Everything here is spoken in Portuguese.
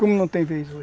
Como não tem vez hoje.